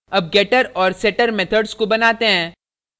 अब getter और setter methods को बनाते हैं